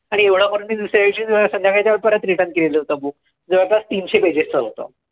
आणि एवढं करून मी दुसऱ्या दिवशी संध्याकाळी त्याला परत return केलेलं होतं book, जवळपास तीनशे pages चं होतं.